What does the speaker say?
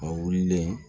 A wulilen